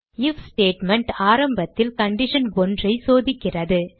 if statement ஆரம்பத்தில் condition 1 ஐ சோதிக்கிறது